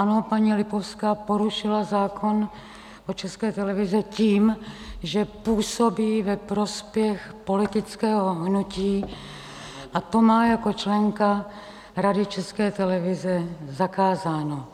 Ano, paní Lipovská porušila zákon o České televizi tím, že působí ve prospěch politického hnutí, a to má jako členka Rady České televize zakázáno.